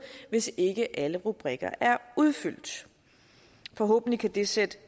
hvis ikke alle rubrikker udfyldt forhåbentlig kan det sætte